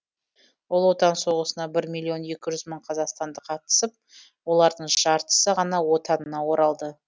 ұлы отан соғысына бір миллион екі жүз мың қазақстандық қатысып олардың жартысы ғана отанына оралды